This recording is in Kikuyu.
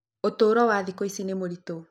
Ũtũũro wa thikũ ici nĩ mũritũ.